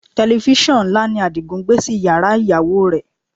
Tẹlifísàn ńlá ni Adigun gbé sí yàrá ìyàwó rẹ̀